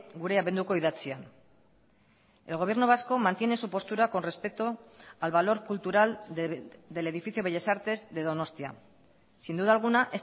gure abenduko idatzian el gobierno vasco mantiene su postura con respeto al valor cultural del edificio bellas artes de donostia sin duda alguna